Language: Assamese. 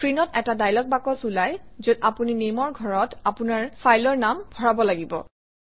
স্ক্ৰীনত এটা ডায়লগ বাকচ ওলায় যত আপুনি Name অৰ ঘৰত আপোনাৰ ফাইলৰ নাম ভৰাব লাগে